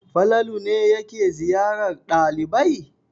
Falalu ne yake ziyarar ɗalibai?